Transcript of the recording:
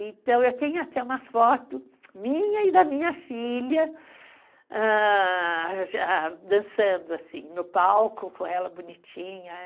Então, eu tenho até uma foto minha e da minha filha, ah... dançando no palco com ela, bonitinha.